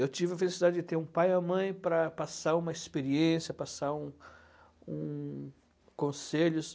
Eu tive a felicidade de ter um pai e uma mãe para passar uma experiência, passar um um conselhos.